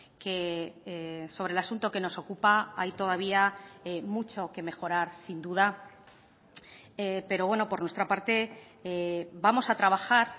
que sobre el asunto que nos ocupa hay todavía mucho que mejorar sin duda pero bueno por nuestra parte vamos a trabajar